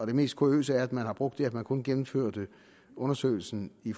det mest kuriøse er at man har brugt det at man kun gennemførte undersøgelsen i